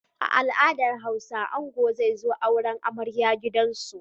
A al'adar Hausa angon zai zo auren amarya a gidansu.